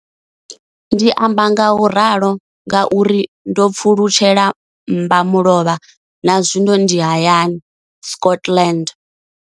Ndi amba ngauralo nga uri ndo pfulutshela mmba mulovha na zwino ndi hayani, Scotland.